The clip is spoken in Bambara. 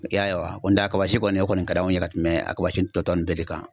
I y'a ye wa n'o tɛ a kaba si kɔni o kɔni ka d'anw ye ka tɛmɛ a kaba si tɔ tɔ ninnu bɛɛ de kan .